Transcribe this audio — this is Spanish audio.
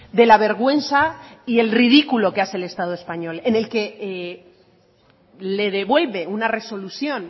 de la vergüenza y el ridículo que hace el estado español en el que le devuelve una resolución